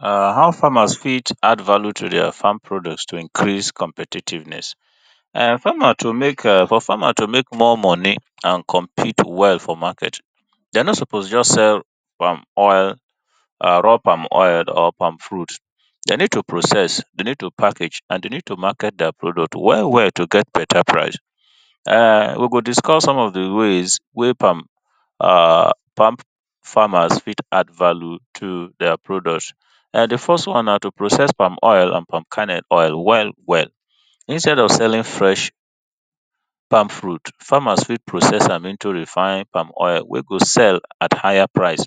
How farmers fit add value to their farm products to increase competitiveness, for farmer to make for farmer to make more money and compete well for market. Den nor suppose just sell palm oil, raw pal fruit, dem need to process, dem need to package, and dem need to market their product well well to get better price, we go discuss some of di ways wey palm, ah palm oil, farmers fit to add value to their product, di first one na to process palm oil, palm kernel well well, instead of selling fresh palm fruit farmers fit process am into refined palm oil wey go sell at higher price,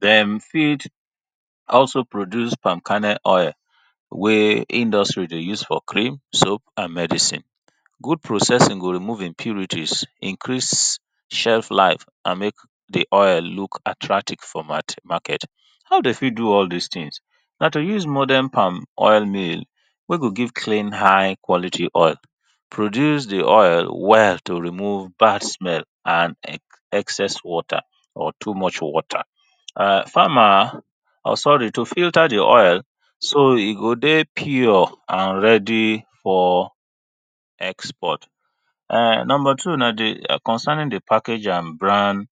dem fit also product palm kernel oil wey industry dey use for cream, soap and medicine, good processing go remove impurities, increase chef life, and make di oil look attractive for market, nor dey fit do all dis things na to use modern palm oil mill wen go give clean high quality oil, produce di oil well to remove bad small and excess water, or too much water, and farmer, sorry to filter di oil, so e go dey pure and ready for export. Number two na concerning di package and brand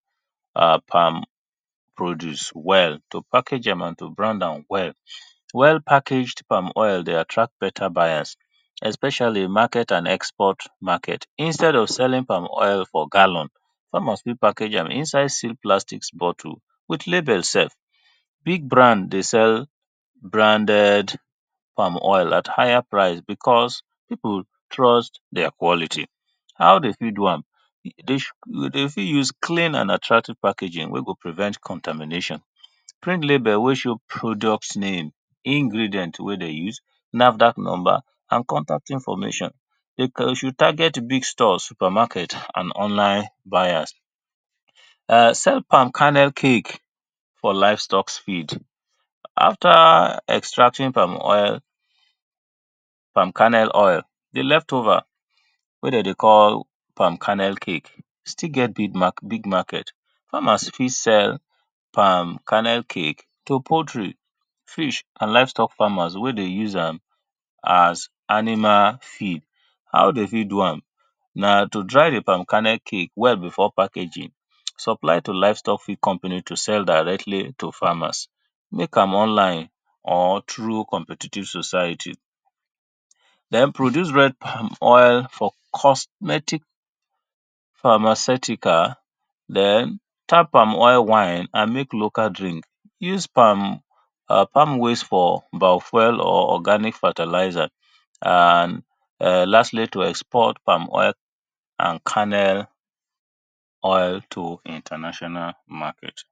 produce well, to package am and to brand am well, well packaged oil dey attract buyers especially market and export market instead of selling palm oil for gallon, farmers fit package am for inside small sealed plastic bottle with label sef, big band dey sell branded palm oil at higher price because people trust their quality, how dem fit do do am, dem fit use clear and attractive packaging wen go prevent contamination, clear label wey show product name, ingredient wen dem use, NAFDAC number and contact information, dey should target big shops, supermarket and online buyers. Sell palm kernel cake for livestock feeds after extracting palm oil, palm kernel oil di left over wey dem dey call palm kernel cake still get big market, farmers fit sell palm kernel cake to poultry, fish and livestock farmers wey dey use a as animal feed. How dem fit do am na to dry di palm kernel cake well before packaging, supply to big company to sell directly to farmers, make am online or through competitive society, den produce red palm oil for cosmetic pharmaceutical, den tap palm oil wine and make local drink, use palm plam waste for fuel or organic fertilizer, and lastly to export palm oil and kernel oil to international market.